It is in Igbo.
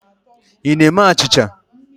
Ị na-ime achịcha?